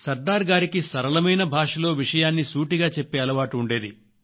సర్దార్ గారికి సరళమైన భాషలో విషయాన్ని సూటిగా చెప్పే అలవాటు ఉండేది